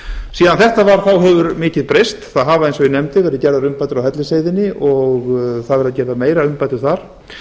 síðan þetta var hefur mikið breyst það hafa eins og ég nefndi verið gerðar umbætur á hellisheiðinni og það verða gerðar meiri umbætur þar